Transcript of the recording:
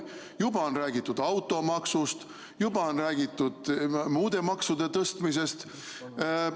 Juba on räägitud automaksust, juba on räägitud muude maksude tõstmisest.